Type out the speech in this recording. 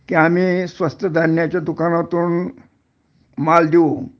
कि आम्ही स्वस्त धान्याच्या दुकानातून माल देऊ